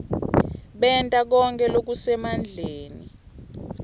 benta konkhe lokusemandleni